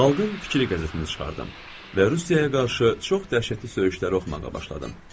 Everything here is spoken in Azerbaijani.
Xalqın Fikri qəzetini çıxardım və Rusiyaya qarşı çox dəhşətli söyüşlər oxumağa başladım.